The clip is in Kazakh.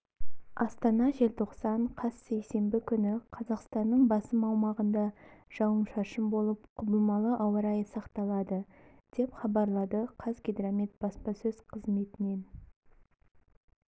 астана желтоқсан қаз сейсенбі күні қазақстанның басым аумағында жауын-шашын болып құбылмалы ауа райы сақталады деп хабарлады қазгидромет баспасөз қызметінен